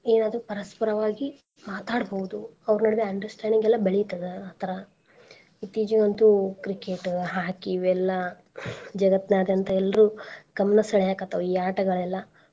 ಏನಾದ್ರೂ ಪರಸ್ಪರವಾಗಿ ಮಾತಾಡಡ್ಬೌದು ಅವ್ರ ನಡುವೆ understanding ಎಲ್ಲಾ ಬೆಳಿತದ ಆ ತರಾ ಇತ್ತೀಚೆಗಂತು Cricket Hockey ಇವೆಲ್ಲಾ ಜಗತ್ನಾದ್ಯಂತ ಎಲ್ರೂ ಗಮ್ನಾ ಸೆಳ್ಯಾಕತ್ತಾವ್ ಈ ಆಟ ಗಳೆಲ್ಲಾ.